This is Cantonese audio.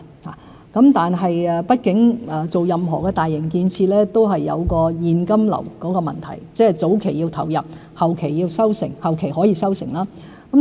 不過，畢竟發展任何大型建設都涉及現金流問題，即是早期要投入，後期則可以收成。